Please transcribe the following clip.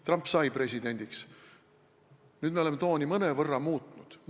Trump sai presidendiks ja nüüd me oleme mõnevõrra tooni muutnud.